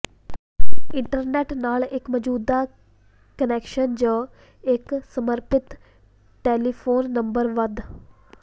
internet ਨਾਲ ਇੱਕ ਮੌਜੂਦਾ ਕੁਨੈਕਸ਼ਨ ਜ ਇੱਕ ਸਮਰਪਿਤ ਟੈਲੀਫੋਨ ਨੰਬਰ ਵੱਧ